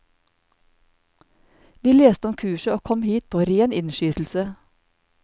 Vi leste om kurset og kom hit på ren innskytelse.